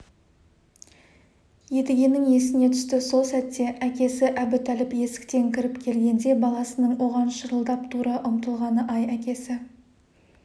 едігенің есіне түсті сол сәтте әкесі әбутәліп есіктен кіріп келгенде баласының оған шырылдап тұра ұмтылғаны-ай әкесі